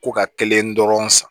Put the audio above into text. Ko ka kelen dɔrɔn san